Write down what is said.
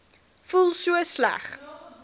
voel so sleg